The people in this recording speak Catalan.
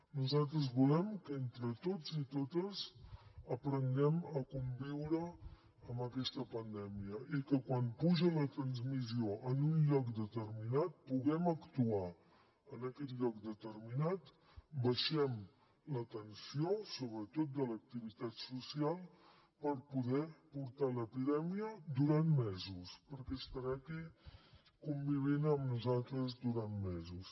nosaltres volem que entre tots i totes aprenguem a conviure amb aquesta pandèmia i que quan puja la transmissió en un lloc determinat puguem actuar en aquest lloc determinat baixem la tensió sobretot de l’activitat social per poder portar l’epidèmia durant mesos perquè estarà aquí convivint amb nosaltres durant mesos